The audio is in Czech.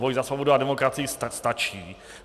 Boj za svobodu a demokracii stačí.